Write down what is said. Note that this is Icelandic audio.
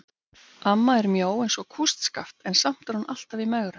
Amma er mjó eins og kústskaft en samt er hún alltaf í megrun.